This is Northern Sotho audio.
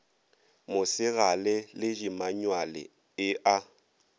mosegale le dimanyuale e a